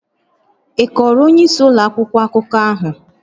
Ị kọọrọ onyeisi ụlọ akwụkwọ akụkọ ahụ?